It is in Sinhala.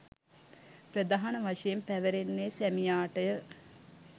ප්‍රධාන වශයෙන් පැවරෙන්නේ සැමියාටය.